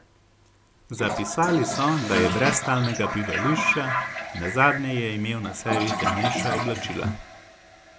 Zapisali so, da je brez stalnega bivališča, nazadnje je imel na sebi temnejša oblačila.